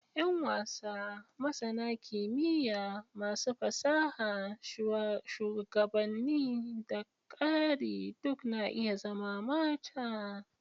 Yan wasa, masana kimiyya, masu fasaha, shugabanni, da ƙari duk na iya zama mata.